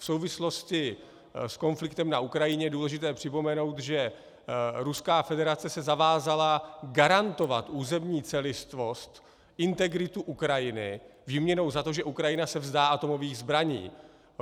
V souvislosti s konfliktem na Ukrajině je důležité připomenout, že Ruská federace se zavázala garantovat územní celistvost, integritu Ukrajiny výměnou za to, že Ukrajina se vzdá atomových zbraní.